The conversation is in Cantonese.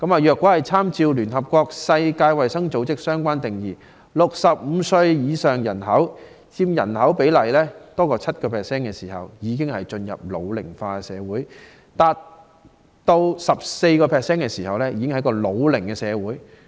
若參照聯合國世界衞生組織的相關定義 ，65 歲以上的人所佔總人口比例達 7% 時，便已經進入"老齡化社會"；達 14% 時便是"老齡社會"。